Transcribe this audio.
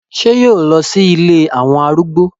Ṣé yóò lọ sí ilé àwọn arúgbó?